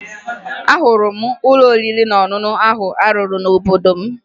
Ahụrụ m ụlọ oriri na ọṅụṅụ ahụ a rụrụ n'obodo m